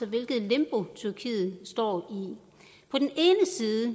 hvilket limbo tyrkiet står